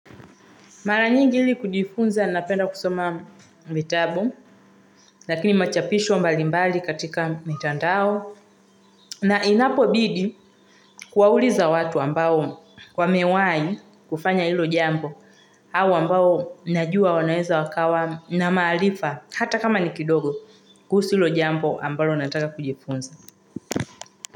Mara nyingi ili kujifunza napenda kusoma vitabu, lakini machapisho mbalimbali katika mitandao. Na inapo bidi kuwauliza watu ambao wamewahi kufanya hilo jambo hawa ambao najua wanaeza wakawa na maarifa hata kama ni kidogo kuhusu hilo jambo ambalo nataka kujifunza.